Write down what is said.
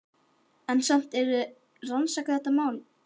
Helga: En samt eruð þið að rannsaka þetta mál?